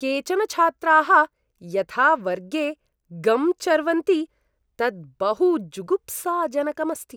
केचन छात्राः यथा वर्गे गम् चर्वन्ति तत् बहु जुगुप्साजनकम् अस्ति।